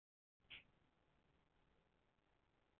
Og yfirleitt er það rangt.